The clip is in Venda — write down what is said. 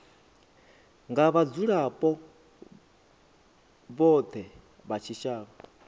nga vhadzulapo vhothe vha tshitshavha